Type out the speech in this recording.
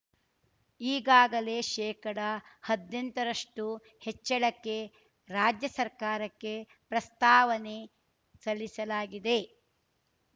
ಈಗಾಗಲೇ ಶೇಕಡಹದ್ನೆಂಟ ರಷ್ಟುಹೆಚ್ಚಳಕ್ಕೆ ರಾಜ್ಯ ಸರ್ಕಾರಕ್ಕೆ ಪ್ರಸ್ತಾವನೆ ಸಲ್ಲಿಸಲಾಗಿದೆ